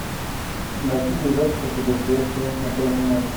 найти передачу про путешествия на первом канале